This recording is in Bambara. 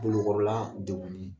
Kungolo kɔrɔla degunnen.